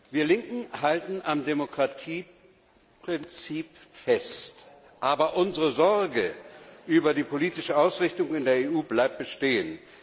Wir Linken halten am Demokratieprinzip fest, aber unsere Sorge über die politische Ausrichtung in der EU bleibt bestehen.